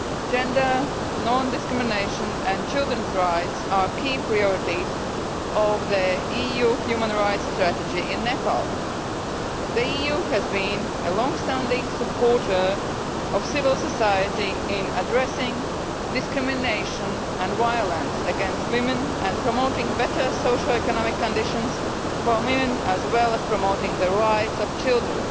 Gender, non discrimination and children's rights are key priorities of the EU human rights strategy in Nepal. The EU has been a long standing supporter of civil society in addressing discrimination and violence against women and promoting better social economic conditions for women, as well as promoting the rights of children.